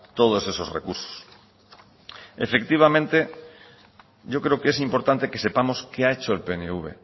todos esos recursos efectivamente yo creo que es importante que sepamos qué ha hecho el pnv